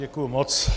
Děkuji moc.